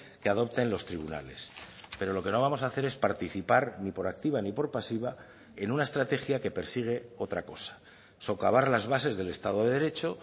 que adopten los tribunales pero lo que no vamos a hacer es participar ni por activa ni por pasiva en una estrategia que persigue otra cosa socavar las bases del estado de derecho